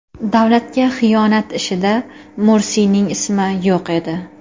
Davlatga xiyonat ishida Mursiyning ismi yo‘q edi.